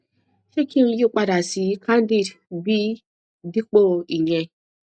ṣé kí n yí padà sí candid b dípò ìyẹn